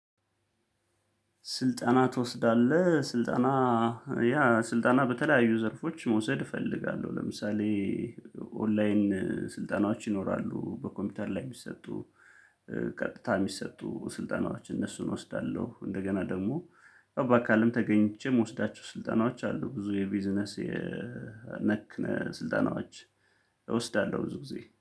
ስልጠና ትወስዳለህ ስልጣና ያ ስልጣና በተለያዩ ዘርፎች መውሰድ እፈልጋለሁ ለምሳሌ ኦንላይን ስልጠናዎች ይኖራሉ በኮምፒውተር ላይ የሚሰጡ ቀጥታ የሚሰጡ ስልጠናዎች እነሱን እወስዳለሁ እንደገና ደግሞ በአካልም ተገኝቼ የምወስዳቸው ስልጠናዎች አሉ ብዙ የቢዝነስ የነክ ስልጠናዎች እወስዳለሁ ብዙ ጊዜ